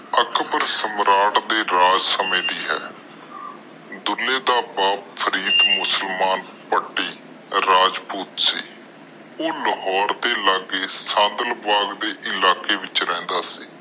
ਅਕਬਰ ਸਮਰਾਟ ਦੇ ਰਾਜ ਸਮੇ ਦੇ ਆ ਡੁਲ੍ਹੇ ਦਾ ਬੱਪ ਫ੍ਰੀਡ ਮੁਸਲਮਾਨ ਭਾਤਿ ਰਾਜਪੂਤ ਸੀ ਉਹ ਲਾਹੌਰ ਦੇ ਲਗੇ ਸਦਬਲ ਇਲਾਕੇ ਚ ਰਹਿੰਦਾ ਸੀ